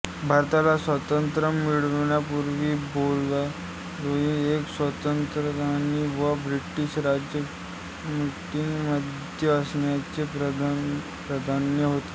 भारताला स्वातंत्र्य मिळण्यापूर्वी बोरदोलोई एक स्वातंत्र्यसेनानी व ब्रिटिश राजवटीमध्ये आसामचे पंतप्रधान होते